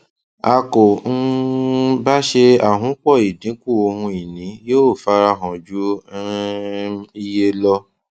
a kò um bá ṣe àhunpọ ìdínkù ohun ìní yóò fara hàn ju um iye lọ